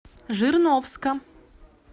жирновска